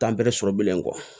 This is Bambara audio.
Taa bɛrɛ sɔrɔ bilen kɔ